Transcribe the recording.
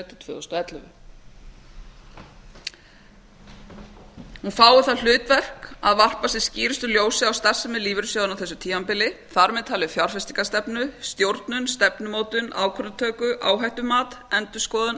tvö þúsund og ellefu fái það hlutverk að varpa sem skýrustu ljósi á starfsemi lífeyrissjóðanna á þessu tímabili þar með talið fjárfestingarstefnu stjórnun stefnumótun ákvörðunartöku áhættumat endurskoðun